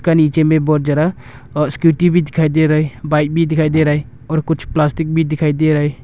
नीचे में बहुत जरा स्कूटी भी दिखाई दे रहा है बाइक भी दिखाई दे रहा है और कुछ प्लास्टिक भी दिखाई दे रहा है।